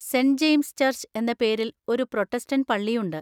Saint James church എന്ന പേരിൽ ഒരു പ്രൊട്ടസ്റ്റന്‍റ് പള്ളിയുണ്ട്.